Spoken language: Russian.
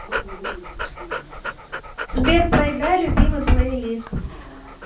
сбер проиграй любимый плейлист